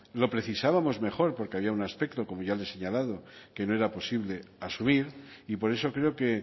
lo precisábamos mejor porque había un aspecto como ya le he señalado que no era posible asumir y por eso creo que